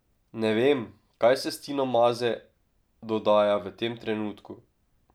Ne vem, kaj se s Tino Maze dodaja v tem trenutku.